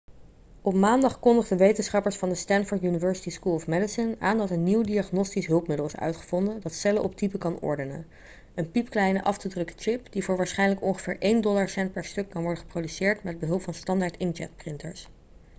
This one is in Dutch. op maandag kondigden wetenschappers van de stanford university school of medicine aan dat een nieuw diagnostisch hulpmiddel is uitgevonden dat cellen op type kan ordenen een piepkleine af te drukken chip die voor waarschijnlijk ongeveer één dollarcent per stuk kan worden geproduceerd met behulp van standaard inkjetprinters